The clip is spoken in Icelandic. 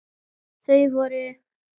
Þau voru